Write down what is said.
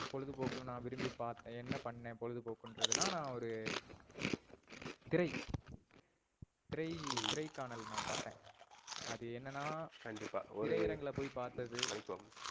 பொழுதுபோக்கு நா விரும்பிபாத்தன் என்ன பண்ணன் பொழுதுபோக்குறதுனா நான் ஒரு திரை திரைகாணல் நா பாத்தன். அது என்னா, கண்டிப்பா ஒரு திரைஅரங்குல போய் பார்த்தது.